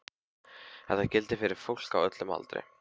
Þetta gildir fyrir fólk á öllum aldri.